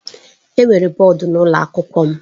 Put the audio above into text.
Enwere bọọdụ n'ụlọ akwụkwọ m.